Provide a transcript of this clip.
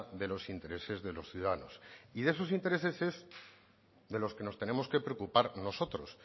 de los intereses de los ciudadanos y de esos intereses es de los que nos tenemos que preocupar nosotros